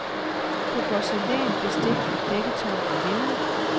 På porcelæn, bestik, dækketøj og linned.